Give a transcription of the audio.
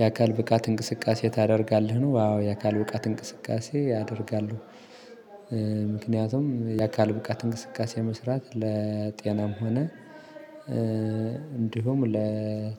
የአካል ብቃት እንቅስቃሴ ታደርጋለህ ነው አዎ የአካል ብቃት እንቅስቃሴ ያደርጋሉ ምክንያቱም የአካል ብቃት እንቅስቃሴ መስራት ለ ጤናም ሆነ እ እንዲሁም ለ